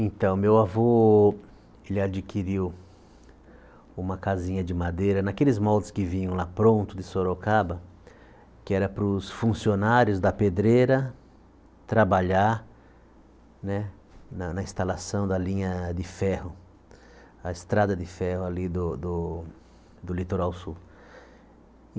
Então, meu avô ele adquiriu uma casinha de madeira naqueles moldes que vinham lá pronto de Sorocaba, que era para os funcionários da pedreira trabalhar né na na instalação da linha de ferro, a estrada de ferro ali do do litoral sul.